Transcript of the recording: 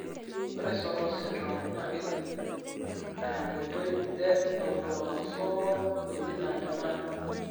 ore Sotos syndrome naa kejung'I tenkoitoi e autosomal dominant manner.